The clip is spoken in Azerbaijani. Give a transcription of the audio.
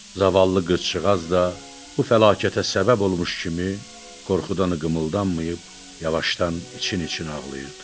Zavallı qızcığaz da bu fəlakətə səbəb olmuş kimi qorxudan qımıldanmayıb, yavaşdan için-için ağlayırdı.